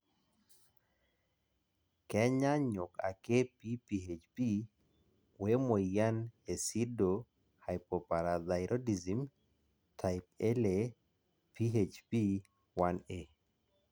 kenyaanyuk ake PPHP we moyian e pseudohypoparathyroidism type Ia (PHP 1a).